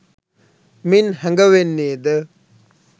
මින් හැඟවෙන්නේද